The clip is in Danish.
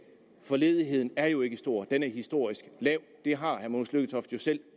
for ledigheden er jo ikke stor den er historisk lav det har herre mogens lykketoft jo selv